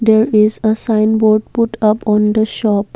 there is a signboard put up on the shop.